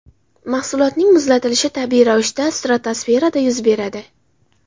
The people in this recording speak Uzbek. Mahsulotning muzlatilishi tabiiy ravishda stratosferada yuz beradi.